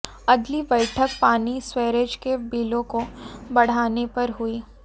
अगली बैठक पानी सीवरेज के बिलों को बढ़ाने पर हुई